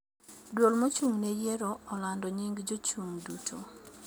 Duol mochung' ne yiero olando nying jochun'g duto